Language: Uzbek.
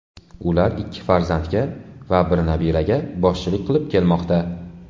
Ular ikki farzandga va bir nabiraga boshchilik qilib kelmoqda.